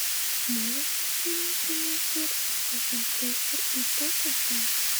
можешь найти мне прямой эфир апл манчестер и тоттенхэм